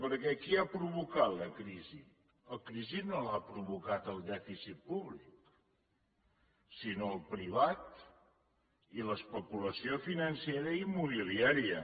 perquè qui ha provocat la crisi la crisi no l’ha provocada el dèficit públic sinó el privat i l’especulació financera i immobiliària